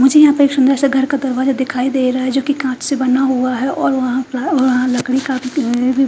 मुझे यहां पे एक सुंदर सा घर का दरवाजा दिखाई दे रहा है जोकि कांच से बना हुआ है और वहां का वहां लकड़ी का --